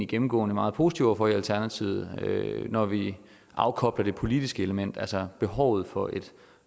gennemgående meget positive over for i alternativet når vi afkobler det politiske element altså der behov for et